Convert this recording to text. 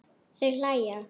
Þau hlæja.